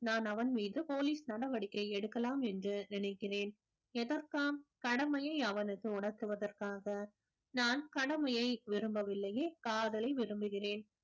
நான் அவன் மீது police நடவடிக்கை எடுக்கலாம் என்று நினைக்கிறேன் எதற்காம் கடமையை அவனுக்கு உணர்த்துவதற்காக நான் கடமையை விரும்பவில்லையே காதலை விரும்புகிறேன்